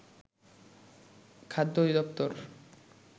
খাদ্য অধিদপ্তর